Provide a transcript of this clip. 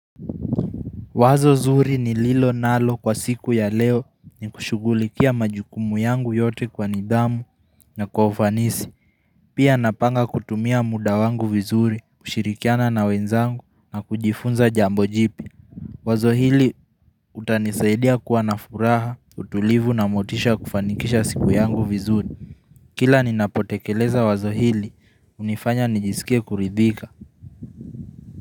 Wazo zuri ni lilo nalo kwa siku ya leo ni kushugulikia majukumu yangu yote kwa nidhamu na kwa ufanisi. Pia napanga kutumia muda wangu vizuri, kushirikiana na wenzangu na kujifunza jambo jipya. Wazo hili utanisaidia kuwa na furaha, utulivu na motisha kufanikisha siku yangu vizuri. Kila ninapotekeleza wazo hili, unifanya nijisikie kuridhika.